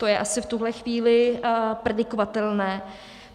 To je asi v tuhle chvíli predikovatelné.